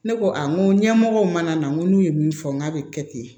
Ne ko a n ko ɲɛmɔgɔw mana na n ko n'u ye min fɔ n k'a bɛ kɛ ten